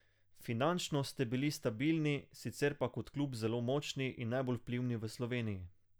Finančno ste bili stabilni, sicer pa kot klub zelo močni in najbolj vplivni v Sloveniji.